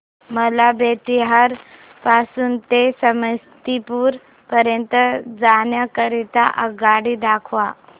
मला बेत्तीयाह पासून ते समस्तीपुर पर्यंत जाण्या करीता आगगाडी दाखवा